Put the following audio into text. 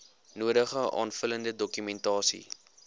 nodige aanvullende dokumentasie